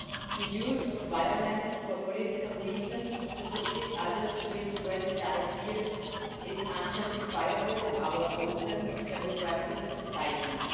The use of violence for political reasons to forbid others to express their ideas is unjustifiable in our open democratic societies.